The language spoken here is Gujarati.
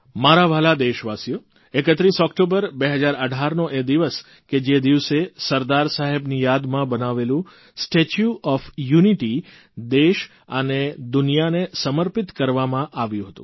મારા વ્હાલા દેશવાસીઓ 31 ઓકટોબર 2018નો એ દિવસ કે જે દિવસે સરદાર સાહેબની યાદમાં બનાવેલું સ્ટેચ્યુ ઓફ યુનિટી દેશ અને દુનિયાને સમર્પિત કરવામાં આવ્યું હતું